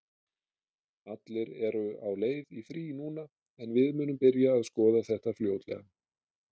Allir eru á leið í frí núna en við munum byrja að skoða þetta fljótlega.